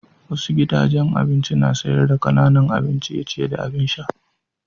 Wasu gidajen abinci na sayar da kananan abin ciye-ciye da abin sha.